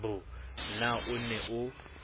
b na o ne o